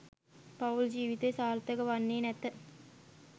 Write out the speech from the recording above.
පවුල් ජීවිතය සාර්ථක වන්නේ නැත.